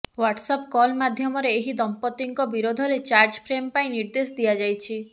WhatsApp call ମାଧ୍ୟମରେ ଏହି ଦଂପତିଙ୍କ ବିରୋଧରେ ଚାର୍ଜଫ୍ରେମ୍ ପାଇଁ ନିର୍ଦ୍ଦେଶ ଦିଆଯାଇଛି